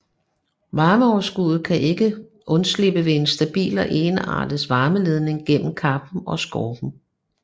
Varmeoverskuddet kan ikke undslippe ved en stabil og ensartet varmeledning igennem kappen og skorpen